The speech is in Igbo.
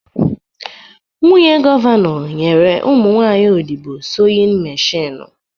Nwunye gọvanọ nyere ụmụ nwaanyị obodo soyin meshinụ